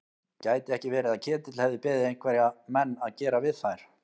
Gæti ekki verið að Ketill hefði beðið einhverja menn að gera við þær?